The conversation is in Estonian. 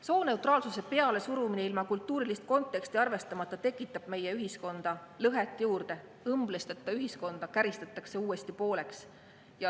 Sooneutraalsuse pealesurumine ilma kultuurilist konteksti arvestamata tekitab meie ühiskonda lõhet juurde, õmblusteta ühiskonda käristatakse uuesti pooleks.